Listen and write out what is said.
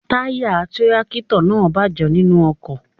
Táyà tírákítọ̀ náà bàjẹ́ nínú oko.